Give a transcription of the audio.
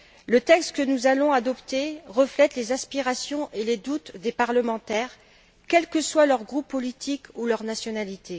Le texte que nous allons adopter reflète les aspirations et les doutes des parlementaires, quels que soient leur groupe politique ou leur nationalité.